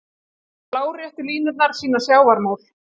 Láréttu línurnar sýna sjávarmál.